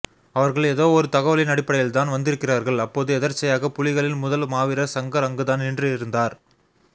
அவர்கள் எதோ ஒரு தகவலின் அடிப்படையில்தான் வந்திருக்கிறார்கள் அப்போது எதற்ச்சையாக புலிகளின் முதல் மாவீரர் சங்கர் அங்குதான் நின்று இருந்தார்